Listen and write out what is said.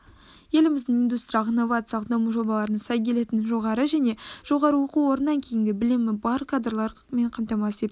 еліміздің индустриялық-инновациялық даму жобаларына сай келетін жоғары және жоғары оқу орнынан кейінгі білімі бар кадрлармен қамтамасыз ету